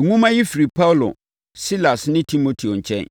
Nwoma yi firi Paulo, Silas ne Timoteo nkyɛn,